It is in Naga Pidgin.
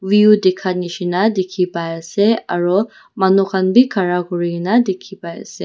View dekha neshina dekhey pai ase aro manu khan bhi khara kurina dekhey pai ase.